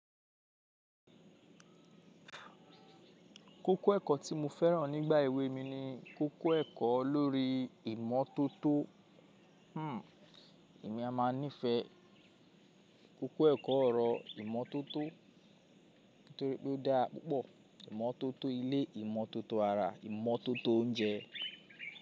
Kókó ẹ̀kọ́ tí mo fẹ́ràn nígbà èwe mi ni kókó ẹ̀kọ́ lórí ìmọ́tótó. Hmmm, èmi a máa nífẹ̀ẹ́ kókó ẹ̀kọ́ ọ̀rọ̀ ìmọ́tótó nítorí pé ó dáa pupo ìmọ́tótó ilé, ìmọ́tótó ara, ìmọ́tótó oúnjẹ.